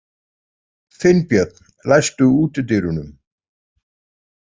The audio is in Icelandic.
Finnbjörn, læstu útidyrunum.